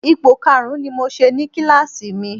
Ipò karùn-ún ni mo ṣe ní kíláàsì mi